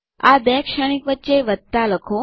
આ બે શ્રેણીક વચ્ચે વત્તા લખો